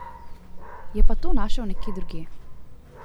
Je pa to našel nekje drugje.